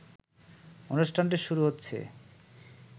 অনুষ্ঠানটি শুরু হচ্ছে